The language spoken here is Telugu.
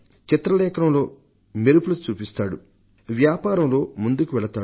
చిత్రలేఖనంలో మెరుపులు చూపిస్తాడు వ్యాపారంలో ముందుకువెళతాడు